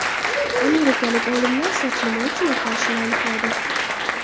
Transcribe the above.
Amerikalik olimlar soch nima uchun oqarishini aniqladi.